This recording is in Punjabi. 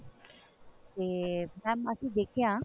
ਤੇ mam ਅਸੀਂ ਦਿਖਿਆ